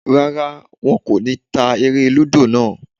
Rárá, wọn kò ní ta eré-lúdò náà.